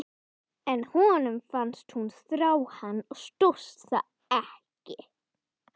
En honum fannst hún þrá hann og stóðst það ekki.